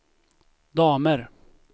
damer